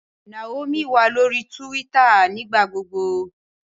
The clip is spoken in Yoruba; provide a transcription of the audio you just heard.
Naomi wa lori Túwìtá nigbagbogbo